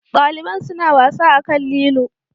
Daliban suna wasa akan lilo.